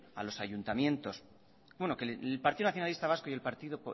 a los ayuntamientos bueno que el partido nacionalista vasco y el partido